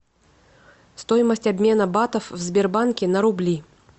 стоимость обмена батов в сбербанке на рубли